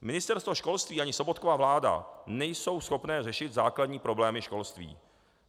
Ministerstvo školství ani Sobotkova vláda nejsou schopné řešit základní problémy školství.